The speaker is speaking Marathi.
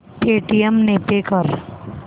पेटीएम ने पे कर